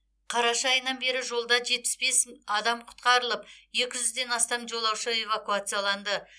қараша айынан бері жолда жетпіс бес адам құтқарылып екі жүзден астам жолаушы эвакуацияланды